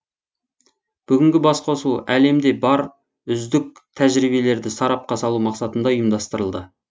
бүгінгі басқосу әлемде бар үздік тәжірибелерді сарапқа салу мақсатында ұйымдастырылды